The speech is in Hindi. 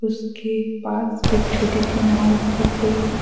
उसके पास एक छोटी सी नाव भी दिख रही है।